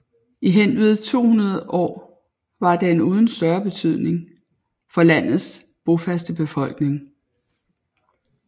I henved 200 år var den uden større betydning for landets bofaste befolkning